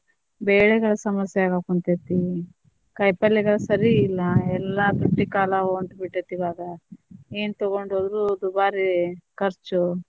ಬೇಳೆಗಳ ಸಮಸ್ಯೆಯಾಗಾಕುಂತೇತಿ, ಕಾಯಿಪಲ್ಲೆಗಳ ಸರಿ ಇಲ್ಲ ಎಲ್ಲಾ ತುಟ್ಟಿ ಕಾಲ ಹೊಂಟೇಬಿಟ್ಟೆತಿ ಇವಾಗ, ಏನ್ ತೊಗೊಂಡ್ ಹೋದ್ರು ದುಬಾರಿ ಖರ್ಚು.